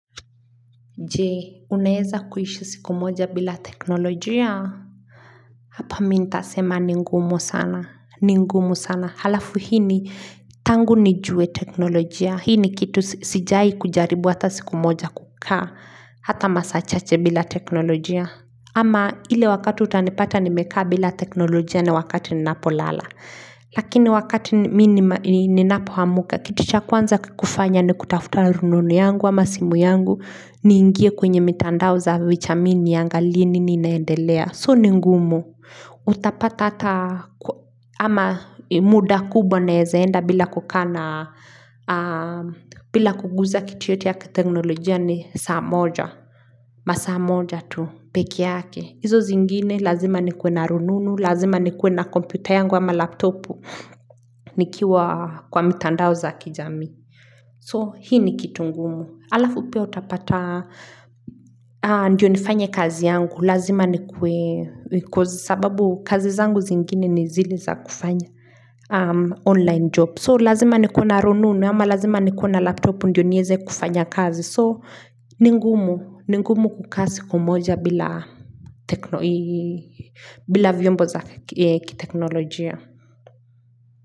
Je, unaeza kuishi siku moja bila teknolojia? Hapa mi nita sema ni ngumu sana, ni ngumu sana, halafu hii ni tangu ni jue teknolojia, hii ni kitu sijai kujaribu hata siku moja kukaa, hata masaa chache bila teknolojia. Ama ile wakati utanipata nimekaa bila teknolojia ni wakati ninapo lala. Lakini wakati ninapo hamuka kitu cha kwanza kukifanya ni kutafuta rununu yangu ama simu yangu niingie kwenye mitandao za vichami niangalie nini inaendelea. So ni ngumu utapata ata ama muda kubwa naezaenda bila kukana bila kuguza kiti yote ya teknolojia ni saa moja. Masaa moja tu peke yake hizo zingine lazima nikuwe na rununu Lazima nikuwe na kompyuta yangu ama laptopu nikiwa kwa mitandao za kijamii So hii ni kitu ngumu Alafu pia utapata Ndiyo nifanye kazi yangu Lazima nikuwe Because sababu kazi zangu zingine nizile za kufanya online job So lazima nikuwe na rununu ama lazima nikuwe na laptopu Ndiyo nieze kufanya kazi So, ningumu kukaa siku moja bila vyombo za kiteknolojia.